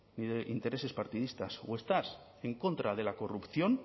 ni de intereses partidistas o estás en contra de la corrupción